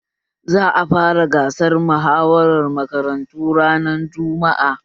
Za a fara gasar muhawara makarantu ranar jumma'a